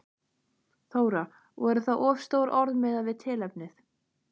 Þóra: Voru það of stór orð miðað við tilefnið?